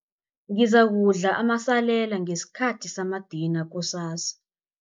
Ngizakudla amasalela ngesikhathi samadina kusasa.